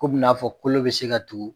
Ko be n'a fɔ kolo be se ka tugu